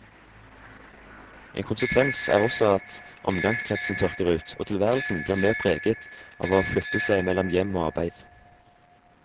En konsekvens er også at omgangskretsen tørker ut, og tilværelsen blir mer preget av å flytte seg mellom hjem og arbeid.